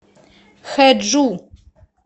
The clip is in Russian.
хэджу